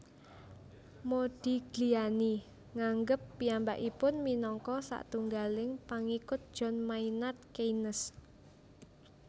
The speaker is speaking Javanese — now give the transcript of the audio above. Modigliani nganggep piyambakipun minangka satunggaling pangikut John Maynard Keynes